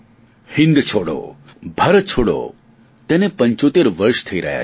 હિંદ છોડો ભારત છોડો તેને પંચોતેર વર્ષ થઈ રહ્યા છે